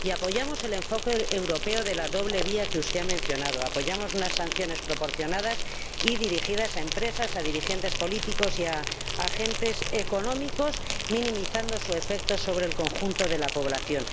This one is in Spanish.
Apoyamos el enfoque europeo de la doble vía que usted ha mencionado, apoyamos unas sanciones proporcionadas y dirigidas a empresas, a dirigentes políticos y a agentes económicos, minimizando su efecto sobre el conjunto de la población.